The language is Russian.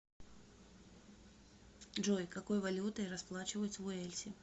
джой какой валютой расплачиваются в уэльсе